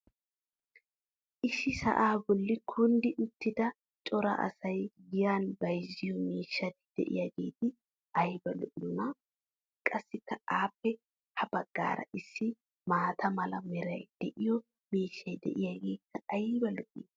issi sa"aa boli kunddi uttida cora asay giyan bayzziyo miishshati diyaageeti ayba lo'iyoonaa!! qasikka appe ha bagaara issi maata mala meray de'iyo miishshay diyaageekka ayba lo'ii!